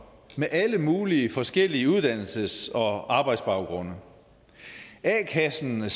med alle mulige forskellige uddannelses og arbejdsbaggrunde a kassen